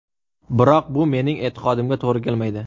Biroq bu mening e’tiqodimga to‘g‘ri kelmaydi.